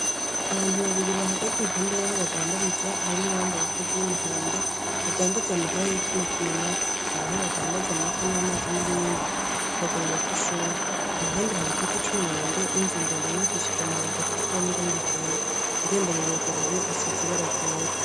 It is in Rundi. Abantu babiri bahagaze iruhande yabantu badandariza hari uwambaye impuzu yumuhondo adandaza amahera yituma tumanako haraho aho badandaza amata amazi nibindi mukaguriro kishure impande hari igiti cumwembe ninzu ndende yubakishijwe amabati atukura nirangi ryera irembo iruguruye risize irangi ryera